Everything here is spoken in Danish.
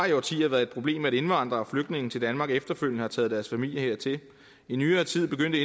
i årtier været et problem at indvandrere og flygtninge til danmark efterfølgende har taget deres familie hertil i nyere tid begyndte